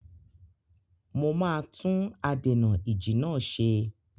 Mo máa tún adènà-ìjì náà ṣe.